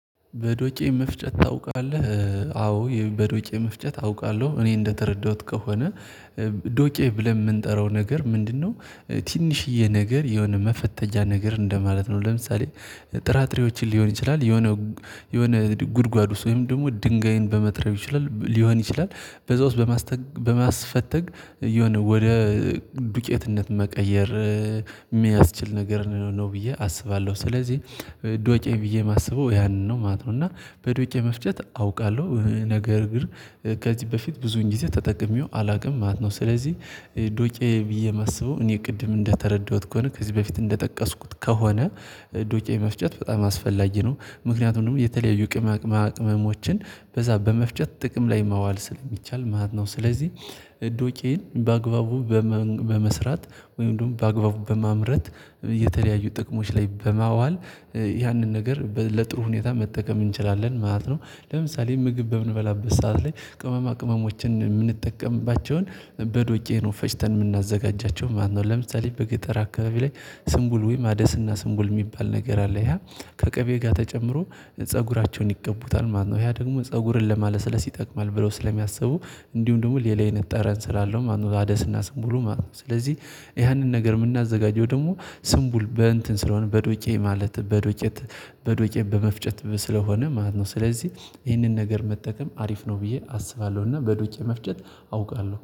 በዶቄ መፍጨት ታውቃለህ አዎ በዶቄ መፍጨት አውቃለሁ እኔ እንደተረዳሁት ከሆነ ዶቄ ብለን የምንጠራው ነገር ምንድነው? ትንሽዬ ነገር የሆነ መፈተጊያ ነገር እንደማለት ነው። ለምሳሌ ጥራጥሬዎችን ሊሆን ይችላል የሆነ የሆነ ጉድጓዱ ውስጥ ደግሞ ድንጋይን በመጥረብ ሊሆን ይችላል በዛ ውስጥ በማስፈተግ የሆነ ወደ ዱቄትነት መቀየር የሚያስችል ነገር ነው ብዬ አስባለሁ። ስለዚህ ዶቄ ብዬ የማስበው ያንን ነው ማለት ነው። እና በዶቄ መፍጨት አውቃለሁ ነገር ግን ከዚህ በፊት ብዙውን ጊዜ ተጠቅሜው አላውቅም ማለት ነው። ስለዚህ ዱቄ ብዬ የማስበው እኔ ቅድም እንደተረዳሁት ከሆነ ከዚህ በፊት እንደጠቀስኩት ከሆነ። ዱቄ መፍጨት በጣም አስፈላጊ ነው ምክንያቱም የተለያዩ ቅመማ ቅመሞችን በዛ በመፍጨት ጥቅም ላይ ማዋል ስለሚቻል ማለት ነው። ስለዚህ እዶቄን በአግባቡ በመስራት ወይም ደግሞ በአግባቡ በማምረት የተለያዩ ጥቅሞች ላይ በማዋል ያንን ነገር ለጥሩ ሁኔታ መጠቀም እንችላለን ማለት ነው። ለምሳሌ ምግብ በምንበላበት ሰዓት ላይ ቅመማ ቅመሞችን የምንጠቀምባቸውን በዶቄ ነው ፈጭተን የምናዘጋጃቸው ማለት ነው። ለምሳሌ በገጠር አካባቢ ላይ ስንቡል ወይም አደስና ስንቡል የሚባል ነገር አለ። ይሄ ከቅቤ ጋር ተጨምሮ ፀጉራቸውን ይቀቡታል ማለት ነው ያ ደግሞ ፀጉርን ለማለስለስ ይጠቅማል ብለው ስለሚያስቡ። እንዲሁም ደግሞ ሌላ አይነት ጠረን ስላለው ማለት ነው አደስና ስምቡሉ ማለት ነው። ስለዚህ ያንን ነገር የምናዘጋጀው ደግሞ ስምቡል በእንትን ስለሆነ በዶቄ ማለት በዶቄ በዶቄ በመፍጨት ስለሆነ ማለት ነው። ስለዚህ ይህንን ነገር መጠቀም አሪፍ ነው ብዬ አስባለሁ እና በዶቄ መፍጨት አውቃለሁ።